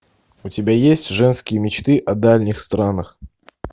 у тебя есть женские мечты о дальних странах